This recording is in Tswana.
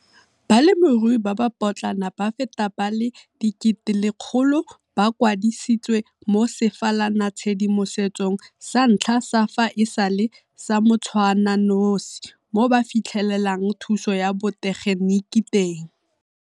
Balemirui ba ba potlana ba feta ba le 100 000 ba kwadisitswe mo sefalanatshedimosetsong sa ntlha sa fa e sale sa motshwananosi mo ba fitlhelelang thuso ya botegeniki teng.